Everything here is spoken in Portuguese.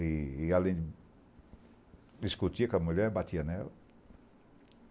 E, além, discutia com a mulher, batia nela.